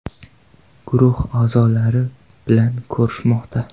guruhi a’zolari bilan ko‘rishmoqda.